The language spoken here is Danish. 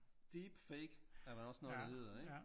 Deep fake er der også noget der hedder ik?